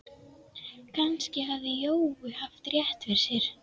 Kannski hafði Jói haft rétt fyrir sér.